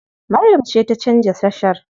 Maryam ce ta canza tashar.